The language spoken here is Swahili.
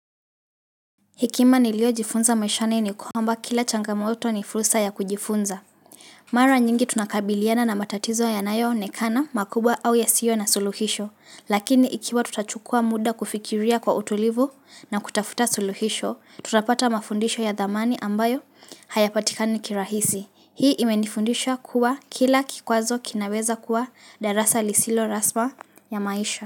Hekima niliyojifunza maishani ni kwamba kila changamoto ni furusa ya kujifunza. Mara nyingi tunakabiliana na matatizo yanayoonekana, makubwa au yasiyo na suluhisho. Lakini ikiwa tutachukua muda kufikiria kwa utulivu na kutafuta suluhisho, tutapata mafundisho ya dhamani ambayo hayapatikani kirahisi. Hii imenifundisha kuwa kila kikwazo kinaweza kuwa darasa lisilo raspa ya maisha.